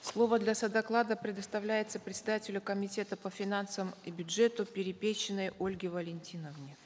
слово для содоклада предоставляется председателю комитета по финансам и бюджету перепечиной ольге валентиновне